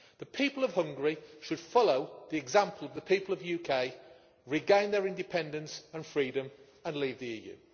The people of Hungary should follow the example of the people of the UK, regain their independence and freedom, and leave the EU.